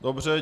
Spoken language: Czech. Dobře.